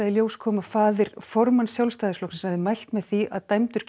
í ljós kom að faðir formanns Sjálfstæðisflokksins hafði mælt með því að dæmdur